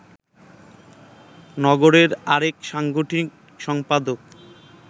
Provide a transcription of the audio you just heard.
নগরের আরেক সাংগঠনিক সম্পাদক